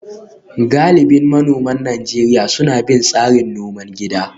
Galibin manoman Najeriya suna bin tsarin noman gida